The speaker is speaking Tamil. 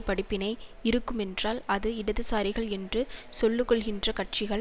படிப்பினை இருக்குமென்றால் அது இடதுசாரிகள் என்று சொல்லுக்கொள்கின்ற கட்சிகள்